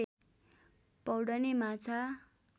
पौड्ने माछा